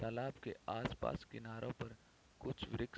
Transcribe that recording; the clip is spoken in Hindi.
तालाब के आसपास किनारों पर कुछ वृक्ष --